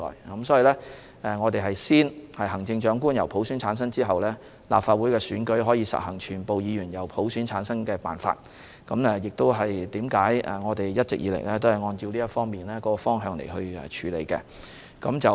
因此，行政長官先由普選產生，立法會選舉才可以實行全部議員由普選產生的辦法，我們一直以來都循這個方向處理。